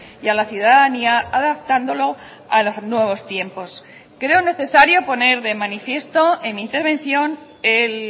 y a la ciudadanía adaptándolo a los nuevos tiempos creo necesario poner de manifiesto en mi intervención el